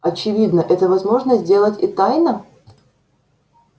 очевидно это возможно сделать и тайно